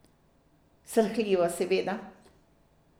Srhljivo, seveda.